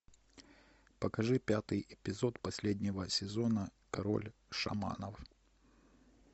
покажи пятый эпизод последнего сезона король шаманов